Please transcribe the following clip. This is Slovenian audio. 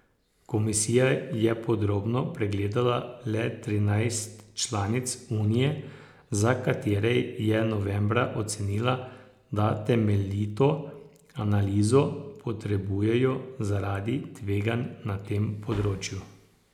Komisija je podrobno pregledala le trinajst članic unije, za katere je novembra ocenila, da temeljito analizo potrebujejo zaradi tveganj na tem področju.